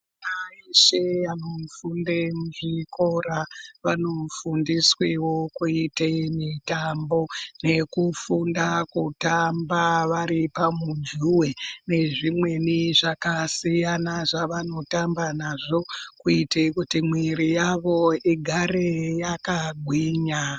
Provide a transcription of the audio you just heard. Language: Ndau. Vana veshe vanofunde muzvikora vanofundiswewo kuite mitambo nekufunda kutamba vari pamujuwe nezvimweni zvakasiyana zvavanotamba nazvo kuite kuti miwiri yawo igare yakagwinya.